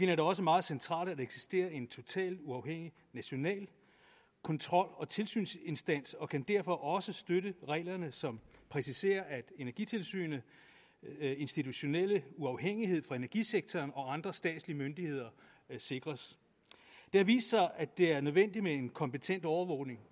det også meget centralt at eksisterer en totalt uafhængig national kontrol og tilsynsinstans og kan derfor også støtte reglerne som præciserer at energitilsynets institutionelle uafhængighed fra energisektoren og statslige myndigheder sikres det har vist sig at det er nødvendigt med en kompetent overvågning